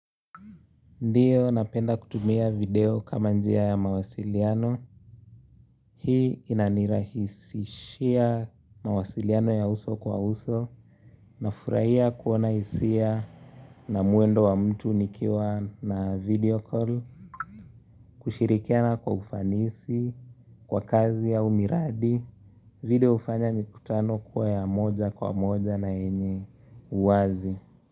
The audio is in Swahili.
Ndiyo napenda kutumia video kama njia ya mawasiliano, hii inanirahisishia mawasiliano ya uso kwa uso, nafurahia kuona hisia na mwendo wa mtu nikiwa na video call, kushirikiana kwa ufanisi, kwa kazi au miradi, video hufanya mikutano kuwa ya moja kwa moja na yenye uwazi.